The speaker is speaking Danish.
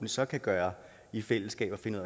så kan gøre i fællesskab at finde